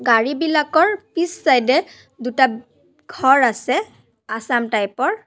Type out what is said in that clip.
ঝাৰিবিলাকৰ পিছ চাইদ এ দুটা ঘৰ আছে আছাম টাইপ ৰ।